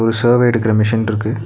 ஒரு சர்வே எடுக்ற மெஷின் இருக்கு.